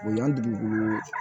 Bonyan dugu bolo